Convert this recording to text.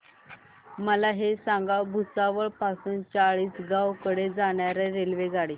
मला हे सांगा भुसावळ पासून चाळीसगाव कडे जाणार्या रेल्वेगाडी